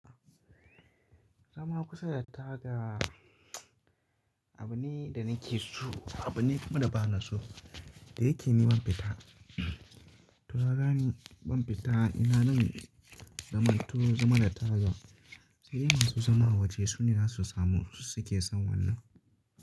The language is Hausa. Zama kusa da taga, abu ne da nake so, abu ne kuma da bana so. Da yake yi ban fita. Tunda kaga ban fita ina nan zaman tu, zaman da taga. Sai in masu zama a waje sune na su samu su suke son wannan.